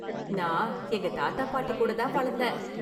நான் எங்க தாத்தா பாட்டி கூட தான் வளர்ந்தேன்.